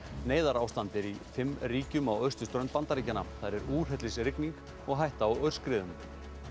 neyðarástand er í fimm ríkjum á Austurströnd Bandaríkjanna þar er úrhellisrigning og hætta á aurskriðum